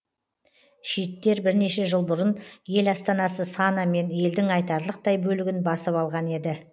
шииттер бірнеше жыл бұрын ел астанасы сана мен елдің айтарлықтай бөлігін басып алған еді